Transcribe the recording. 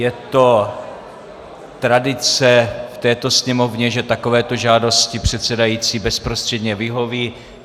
Je to tradice v této Sněmovně, že takovéto žádosti předsedající bezprostředně vyhoví.